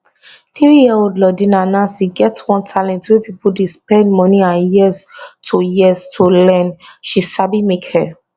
threeyearold lordina nancy get one talent wey pipo dey spend money and years to years to learn she sabi make hair